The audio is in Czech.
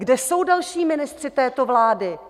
Kde jsou další ministři této vlády?